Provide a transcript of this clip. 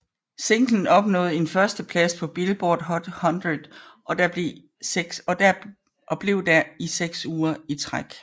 Singlen opnåede en førsteplads på Billboard Hot 100 og blev der i seks uger i træk